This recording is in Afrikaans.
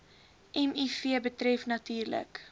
miv betref natuurlik